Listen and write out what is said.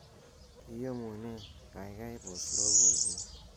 iyomunee gaigai pos loboiyet